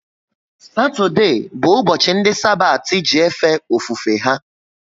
Satode bu ubochi ndi Sabati ji efe ofufe ha